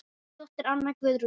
Þín dóttir, Anna Guðrún.